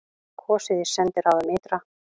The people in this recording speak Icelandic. Kosið í sendiráðum ytra